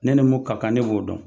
Ne nu mun ka kan ne b'o dɔn